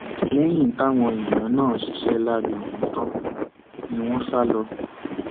lẹyìn táwọn èèyàn náà ṣiṣẹ láabi ọhún tán ni wọn sá lọ